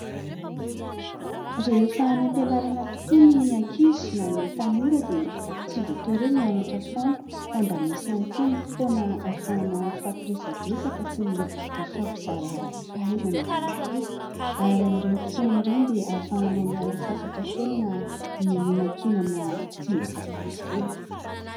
Rehefa any am-pianarana tokoa ny ankizy na ny tanora dia tsy voatery mianatra foana fa mba misy ihany koa ny fotoana ahafahana mifampiresadresaka sy mifampizara fahaizana ihany koa ary amin'ireny fotoana ireny dia ahafahanao miala sasatra kely na mihinankinana sy misakafo kely.